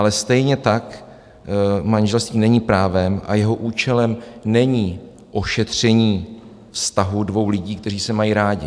Ale stejně tak manželství není právem a jeho účelem není ošetření vztahu dvou lidí, kteří se mají rádi.